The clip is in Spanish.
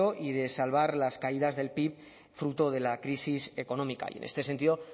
y de salvar las caídas del pib fruto de la crisis económica y en este sentido